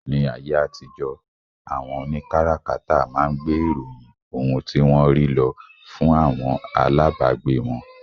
Ní ayé àtijó, àwọn òní kárakáta máa ń gbé ìròyìn ohun tí wọ́n rí lọ fún àwọn alábagbé wọn